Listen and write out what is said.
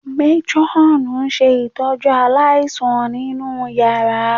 Métírọ́ọ̀nù ń ṣe ìtọ́jú aláìsàn nínú yàrá